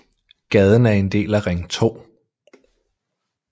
Gaden er en del af Ring 2